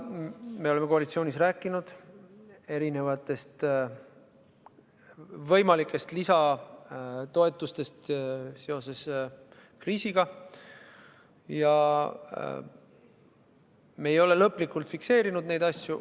Me oleme koalitsioonis rääkinud võimalikest lisatoetustest seoses kriisiga, aga me ei ole neid asju lõplikult fikseerinud.